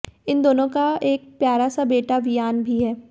इन दोनों का एक प्यारा सा बेटा विआन भी है